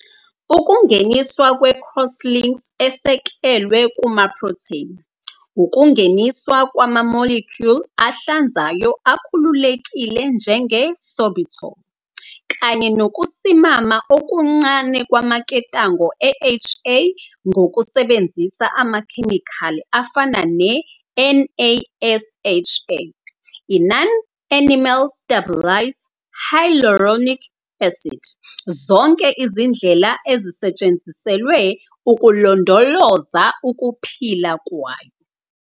Ukungeniswa kwe-cross-links esekelwe kumaprotheni, ukungeniswa kwama-molecule ahlanzayo akhululekile njenge-sorbitol, kanye nokusimama okuncane kwamaketanga e-HA ngokusebenzisa amakhemikhali afana ne-NASHA, i-non-animal stabilized hyaluronic acid, zonke izindlela ezisetshenziselwe ukulondoloza ukuphila kwayo.